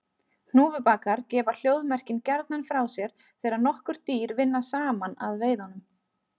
Hnúfubakar gefa hljóðmerkin gjarnan frá sér þegar nokkur dýr vinna saman að veiðunum.